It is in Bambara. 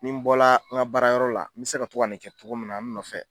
Ni bɔla n ka baara yɔrɔ la, me se ka to ka nin kɛ cogo min na n nɔfɛ,